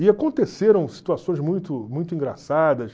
E aconteceram situações muito muito engraçadas.